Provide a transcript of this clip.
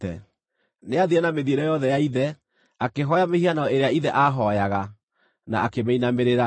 Nĩathiire na mĩthiĩre yothe ya ithe; akĩhooya mĩhianano ĩrĩa ithe aahooyaga, na akĩmĩinamĩrĩra.